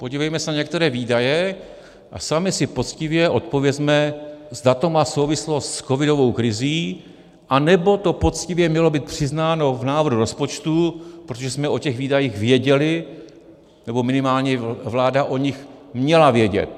Podívejme se na některé výdaje a sami si poctivě odpovězme, zda to má souvislost s covidovou krizí, anebo to poctivě mělo být přiznáno v návrhu rozpočtu, protože jsme o těch výdajích věděli, nebo minimálně vláda o nich měla vědět.